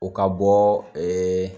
O ka bɔ ɛɛ